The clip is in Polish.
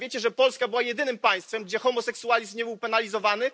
A wiecie, że Polska była jedynym państwem, gdzie homoseksualizm nie był penalizowany?